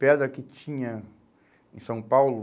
Pedra que tinha em São Paulo.